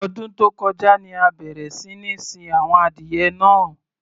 Ọdún tó kọjá ni a bẹ̀rẹ̀ sí ní sin àwọn adìyẹ náà.